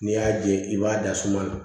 N'i y'a ye i b'a da suma na